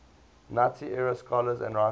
nazi era scholars and writers